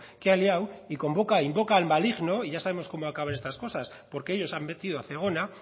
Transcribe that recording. que ha liado e invoca al maligno y ya sabemos cómo acaban estas cosas porque ellos han metido a zegona